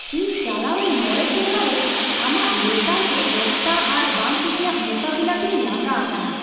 ᱤᱧ ᱪᱟᱞᱟᱣᱮᱱ ᱕ ᱥᱮᱨᱢᱟ ᱨᱮ ᱟᱢᱟᱜ ᱞᱮᱛᱟᱲᱜᱮ ᱚᱠᱛᱟ ᱟᱨ ᱵᱟᱝ ᱠᱩᱥᱤᱭᱟᱜ ᱢᱳᱠᱟᱵᱤᱞᱟᱹ ᱛᱮᱧ ᱞᱟᱸᱜᱟ ᱟᱠᱟᱱᱟ ᱾